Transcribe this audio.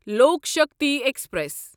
لوکھ شکتی ایکسپریس